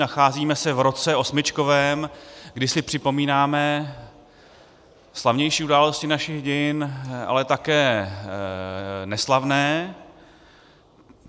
Nacházíme se v roce osmičkovém, kdy si připomínáme slavnější události našich dějin, ale také neslavné.